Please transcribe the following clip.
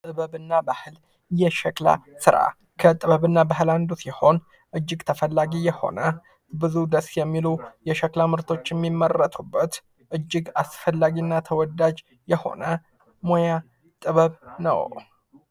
ጥበብ እና ባህል የሸክላ ስራ ከ ጥበብና ባህል አንዱ ሲሆን ፤ እጅግ ተፈላጊ የሆነ ብዙ ደስ የሚሉ የሸክላ ምርቶች የሚመረቱበት እጅግ አስፈላጊ እና ተወዳጅ የሆነ ሙያ ጥበብ ነው።